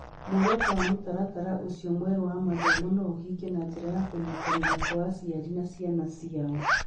Muoroto wa mũtaratara ũcio mwerũ wa mathomo no ũhinge na njĩra ya kũnyitanĩra kwa aciari harĩ ciana ciao.